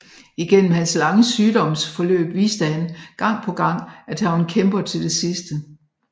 Igennem hans lange sygdomsforløb viste han gang på gang at han var en kæmper til det sidste